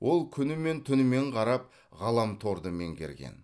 ол күнімен түнімен қарап ғаламторды меңгерген